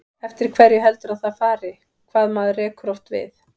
Eftir hverju heldurðu að það fari, hvað maður rekur oft við?